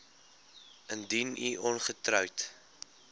indien u ongetroud